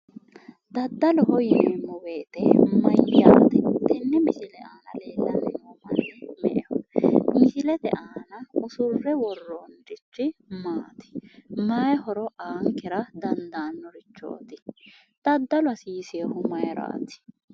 Daddaloho yineemmo woyite mayyaate? Tenne misile aana leellanni noo manni me"eho? Misilete aana usurre worroonnirichi maati? Mayi horo aankera dandaannorichooti? Daddalu hasiisewohu mayiraati?